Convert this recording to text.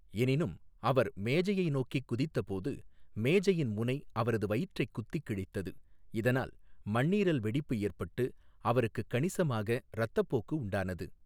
எனினும், அவர் மேஜையை நோக்கிக் குதித்த போது மேஜையின் முனை அவரது வயிற்றைக் குத்திக் கிழித்தது, இதனால் மண்ணீரல் வெடிப்பு ஏற்பட்டு அவருக்குக் கணிசமாக இரத்தப்போக்கு உண்டானது.